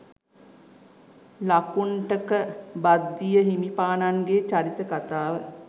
ලකුණ්ඨක භද්දිය හිමිපාණන්ගේ චරිත කතාව